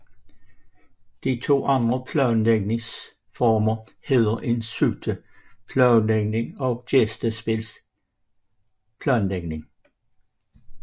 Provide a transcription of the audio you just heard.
De to andre planlægningsformer hedder en suite planlægning og gæstespilsplanlægning